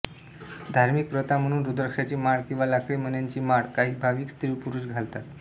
धार्मिक प्रथा म्हणून रुद्राक्षांची माळ किंवा लाकडी मण्यांची माळ काही भाविक स्त्रीपुरुष घालतात